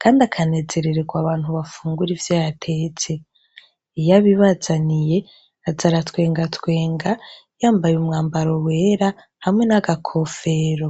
kandi akanezerererwa abantu bafungura ivyo yatetse. Iyo abibazaniye aza aratwengatwenga yambaye umwambaro wera hamwe n'agakofero.